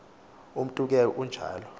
umntu ke unjalo